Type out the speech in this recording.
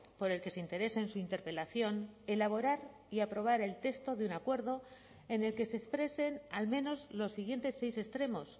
por el que se interesa en su interpelación elaborar y aprobar el texto de un acuerdo en el que se expresen al menos los siguientes seis extremos